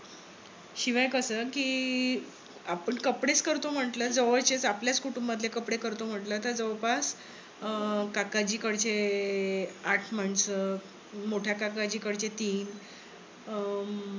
शिवाय कस, कि आपण कपडेच करतो म्हंटल जवळचे आपल्याच कुटुंबातील कपडे करतो म्हंटल. तर जवळपास अं काकाजी कडचे आठ माणसं मोठ्या काकाजी कडचे तीन अं